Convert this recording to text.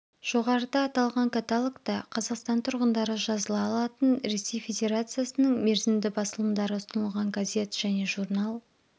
жоғарыда аталған каталогта қазақстан тұрғындары жазыла алатын ресей федерациясының мерзімді басылымдары ұсынылған газет және журнал